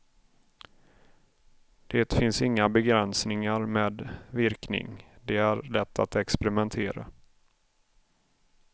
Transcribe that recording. Det finns inga begränsningar med virkning, det är lätt att experimentera.